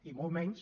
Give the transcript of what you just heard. i molt menys